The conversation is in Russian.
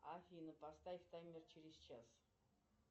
афина поставь таймер через час